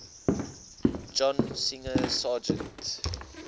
john singer sargent